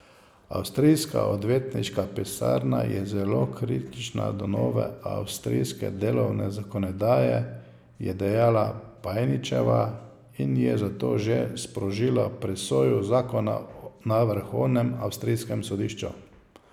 Avstrijska odvetniška pisarna je zelo kritična do nove avstrijske delovne zakonodaje, je dejala Pajničeva, in je zato že sprožila presojo zakona na vrhovnem avstrijskem sodišču.